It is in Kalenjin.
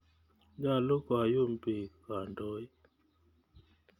Nyalu koyum piik kandoik.